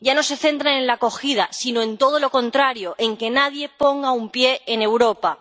Ya no se centran en la acogida, sino en todo lo contrario en que nadie ponga un pie en Europa.